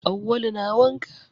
Awwalu na wanka.